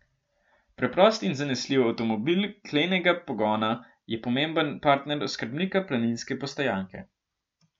Preprost in zanesljiv avtomobil klenega pogona je pomemben partner oskrbnika planinske postojanke.